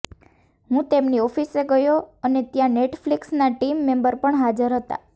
હું તેમની ઓફિસે ગયો અને ત્યાં નેટફ્લિક્સના ટીમ મેમ્બર પણ હાજર હતાં